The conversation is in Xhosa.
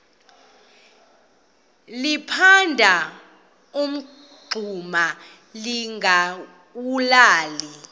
liphanda umngxuma lingawulali